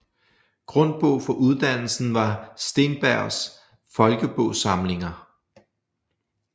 Grundbog for uddannelsen var Steenbergs Folkebogsamlinger